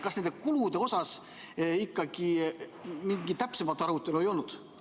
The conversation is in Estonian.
Kas nende kulude üle ikkagi mingit täpsemat arutelu ei olnud?